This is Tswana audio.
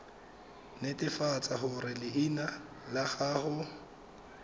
netefatsa gore leina la gago